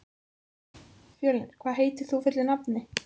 Fjölnir, hvað heitir þú fullu nafni?